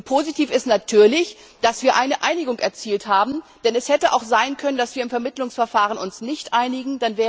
Und positiv ist natürlich, dass wir eine Einigung erzielt haben, denn es hätte auch sein können, dass wir uns im Vermittlungsverfahren nicht einigen.